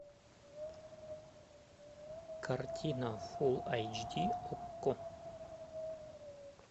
картина фул айч ди окко